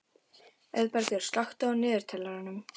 Auðbergur, slökktu á niðurteljaranum.